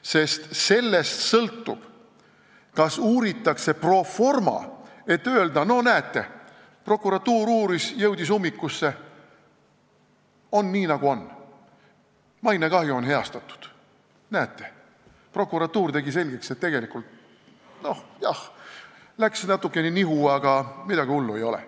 Sest sellest sõltub, kas uuritakse pro forma, et öelda, no näete, prokuratuur uuris, jõudis ummikusse, on nii, nagu on, aga mainekahju on heastatud, näete, prokuratuur tegi selgeks, et tegelikult läks jah natukene nihu, aga midagi hullu ei ole.